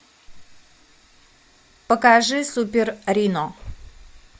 покажи супер рино